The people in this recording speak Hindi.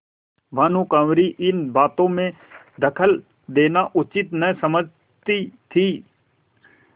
भानुकुँवरि इन बातों में दखल देना उचित न समझती थी